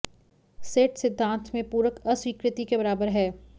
set सिद्धांत में पूरक अस्वीकृति के बराबर है